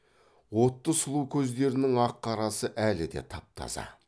отты сұлу көздерінің ақ қарасы әлі де тап таза